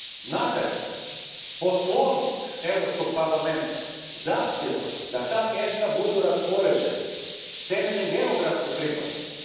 Nadalje, Poslovnik Europskog parlamenta zahtijeva da ta mjesta budu raspoređena temeljem geografske pripadnosti.